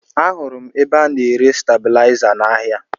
Ahụrụ m ebe a na-ere stebilaịza n'ahịa